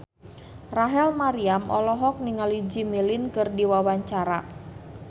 Rachel Maryam olohok ningali Jimmy Lin keur diwawancara